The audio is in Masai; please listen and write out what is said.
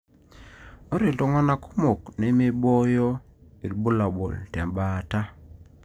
Ore iltungana kumok nemiboyo ilbulabul tembaata.